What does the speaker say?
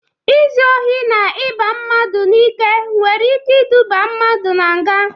Izu ohi na iba mmadụ n'ike nwere ike iduba mmadụ nga.